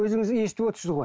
өзіңіз естіп отырсыз ғой